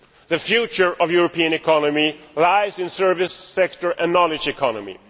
The future of the European economy lies in the service sector and the knowledge economy.